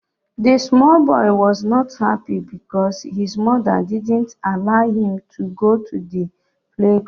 The small boy was not happy because his mother didn't allow him to go to the playground